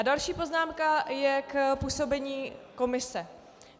A další poznámka je k působení komise.